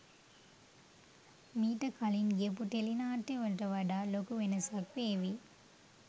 මීට කලින් ගියපු ටෙලි නාට්‍යවලට වඩා ලොකු වෙනසක් වේවි.